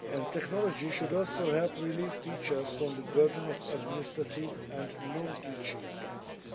Technology should also help relieve teachers from the burden of administrative and non teaching tasks.